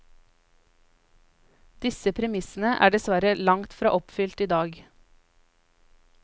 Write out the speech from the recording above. Disse premissene er dessverre langt fra oppfylt i dag.